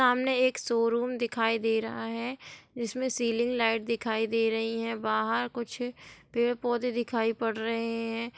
सामने एक शोरूम दिखाई दे रहा है जिसमे सीलिंग लाइट दिखाई दे रही है बाहर कुछ पेड़-पौधे दिखाई पढ़ रहे हैं।